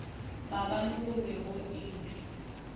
maabane go be go ilwe